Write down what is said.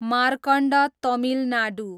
Markand Tamil Nadu